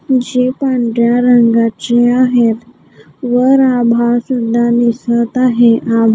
जे पांढऱ्या रंगाचे आहेत वर आभाळ सुद्धा दिसत आहे आभा--